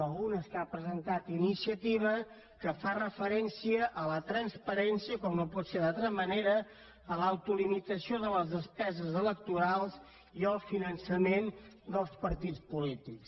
algunes que ha presentat iniciativa que fan referència a la transparència com no pot ser d’altra manera a l’autolimitació de les despeses electorals i al finançament dels partits polítics